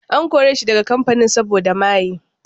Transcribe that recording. An kore shi daga kamfanin saboda maye.